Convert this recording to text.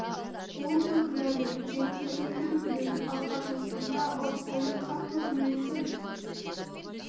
қолы ғой кінәлі жеңін түріп жіберіп білегін алға тосты мә ұр сәуле қатты ұр мен де